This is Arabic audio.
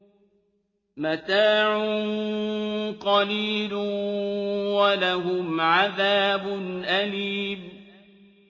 مَتَاعٌ قَلِيلٌ وَلَهُمْ عَذَابٌ أَلِيمٌ